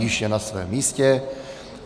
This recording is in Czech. Již je na svém místě.